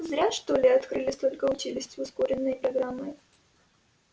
зря что ли открыли столько училищ с ускоренной программой